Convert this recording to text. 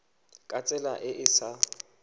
ka tsela e e sa